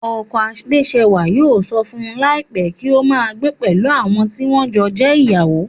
Ọkọ Adésẹwà yóò sọ fún láìpé pé kí o máa gbé pẹ̀lú àwọn tí wọ́n jọ jẹ́ ìyàwó